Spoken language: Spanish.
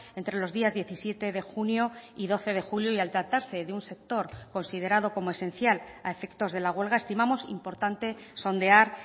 entre los días diecisiete de junio y doce de julio y al tratarse de un sector considerado como esencial a efectos de la huelga estimamos importante sondear